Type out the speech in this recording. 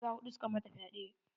Maza huɗu suka mata fyaɗe.